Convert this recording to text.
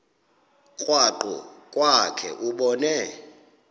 krwaqu kwakhe ubone